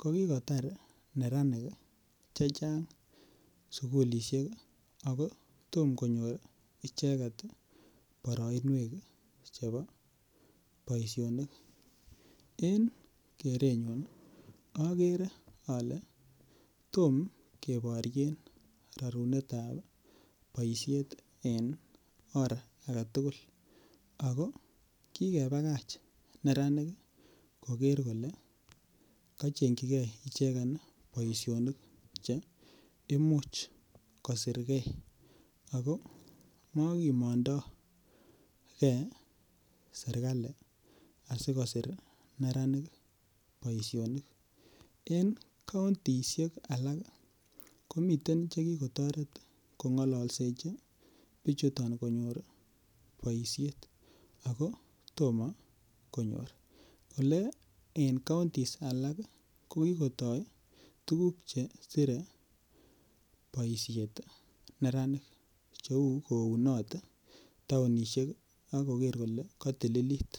ko ki kotar neranik Che Chang sukulisiek ako Tom konyor icheget boroinwek chebo boisionik en kerenyun agere ale tom keboryen rorunet ab boisiet en or age tugul ako kikebakach neranik koger kole kochengchijigei ichegen boisionik mokimondo ge serkali asi kosir neranik boisionik en kauntisiek alak komiten Che ki kotoret kongalalsechi bichuto konyor boisiet ago Tom konyor Ole en kauntisiek alak ko kigotoi tuguk Che sirei boisiet neranik cheu kounot taonisiek ak koger kole katilit